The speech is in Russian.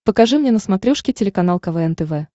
покажи мне на смотрешке телеканал квн тв